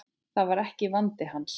Það var ekki vandi hans.